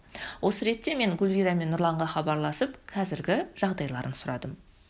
осы ретте мен гүлвира мен нұрланға хабарласып қазіргі жағдайларын сұрадым